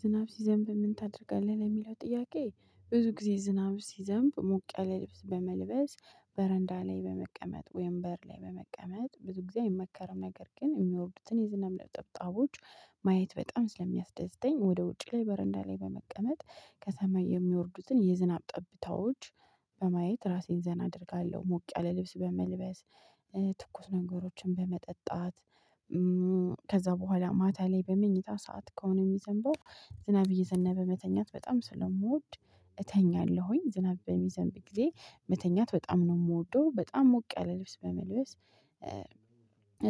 ዝናብ ሲዘንብ ምን ታደርጋለህ? ለሚለው ጥያቄ ብዙ ጊዜ ዝናብ ሲዘንብ ሙቅ ያለ ልብስ በመልበስ በረንዳ ላይ በመቀመጥ ወይም በር ላይ በመቀመጥ ብዙ ጊዜ አይመከርም ነገር ግን የሚወርዱትን የዝናብ ጠብጣቦች ማየት በጣም ስለሚያስደዝዘኝ ወደ ውጪ ላይ በረንዳ ላይ በመቀመጥ ከሰማይ የሚወርዱትን የዝናብ ጠብታዎች በማየት ራሴን ዘና አደርጋለሁ። ሞቅ ያለ ልብስ በመልበስ ትኩስ ነገሮችን በመጠጣት። ከዛ በኋላ ማታ ላይ በመኝታ ሰዓት ከሆነ የሚዘንበው ዝናብ እየዘነበ መተኛት በጣም ስለምወድ እተኛለሁኝ። ዝናብ በሚዘንብ ጊዜ መተኛት በጣም ነው የምወደው በጣም ሞቅ ያለ ልብስ በመልበስ